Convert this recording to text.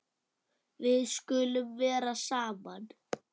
Við skulum vera saman.